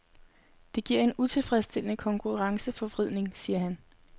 Det giver en utilfredsstillende konkurrenceforvridning, siger han.